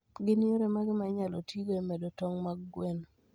Gin yore mage ma inyalo tigo e medo tong' mag gwen?